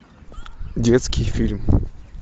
детский фильм